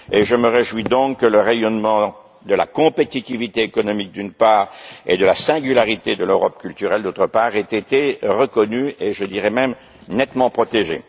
Je me réjouis donc que le rayonnement de la compétitivité économique, d'une part, et de la singularité de l'Europe culturelle, d'autre part, aient été reconnus et même nettement protégés.